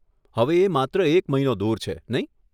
હવે એ માત્ર એક મહિનો દૂર છે, નહીં?